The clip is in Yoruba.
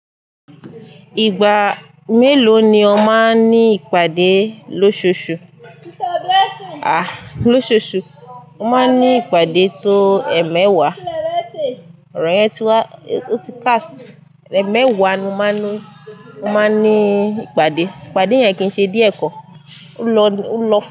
Ìgbà mélòó ni ó máa ń ní ìpàdé lóṣooṣù? À, lóṣooṣù, mo máa ń ní ìpàdé tó ẹ̀emẹwàá. Ọ̀rọ̀ yẹn ti wá, ó ti cast. Ẹ̀mẹwàá ni mo máa ń ní, ó máa ń ní ìpàdé. Ìpàdé yẹn kì í ṣe díẹ̀ kọ́. Ó ń lọ, ó ń lọ.